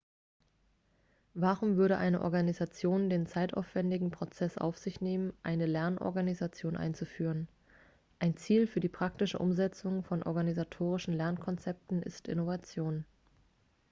warum würde eine organisation den zeitaufwändigen prozess auf sich nehmen eine lernorganisation einzuführen ein ziel für die praktische umsetzung von organisatorischen lernkonzepten ist innovation